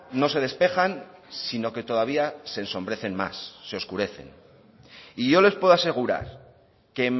no se despejan sino que todavía se ensombrecen más se oscurecen y yo les puedo asegurar que